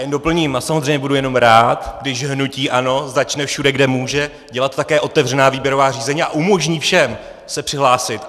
Jen doplním a samozřejmě budu jenom rád, když hnutí ANO začne všude, kde může, dělat také otevřená výběrová řízení a umožní všem se přihlásit.